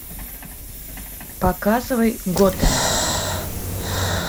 показывай готэм